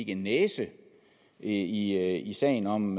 en næse i i sagen om